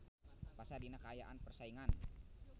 Pasar dina kaayaan persaingan.